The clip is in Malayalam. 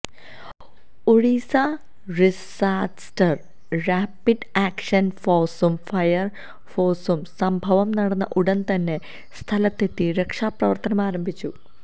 ഒഡീസ റിസാസ്റ്റർ റാപിഡ് ആക്ഷൻ ഫോർസും ഫയർ ഫോർസും സംഭവം നടന്ന ഉടൻ തന്നെ സ്ഥലത്തെത്തി രക്ഷാ പ്രവർത്തനം ആരംഭിച്ചു